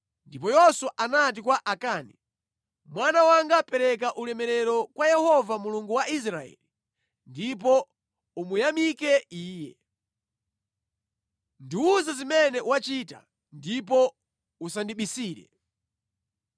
Ndipo Yoswa anati kwa Akani, “Mwana wanga pereka ulemerero kwa Yehova Mulungu wa Israeli ndipo umuyamike Iye. Ndiwuze zimene wachita, ndipo usandibisire.”